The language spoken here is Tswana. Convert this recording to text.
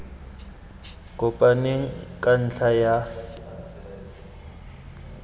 kopaneng ka ntlha ya fa